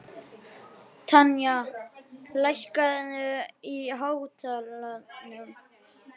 Tanya, lækkaðu í hátalaranum.